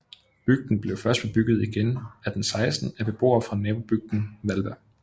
Bygden blev først bebygget igen 1816 af beboere fra nabobygden Hvalba